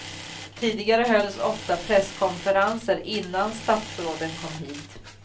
Tidigare hölls ofta presskonferenser innan statsråden kom hit.